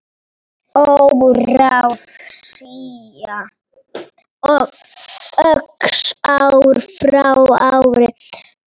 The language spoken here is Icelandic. Óráðsía óx ár frá ári.